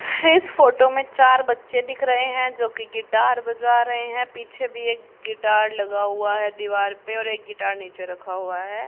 इस फोटो में चार बच्चे दिख रहे हैं जो कि गिटार बजा रहे हैं पीछे भी एक गिटार लगा हुआ है दीवार पे और एक गिटार नीचे रखा हुआ है।